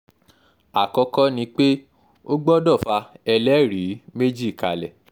àkọ́kọ́ ni pé ó gbọ́dọ̀ fa ẹlẹ́rìí méjì kalẹ̀